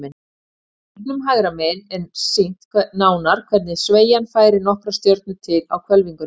Í hringnum hægra megin er sýnt nánar hvernig sveigjan færir nokkrar stjörnur til á hvelfingunni.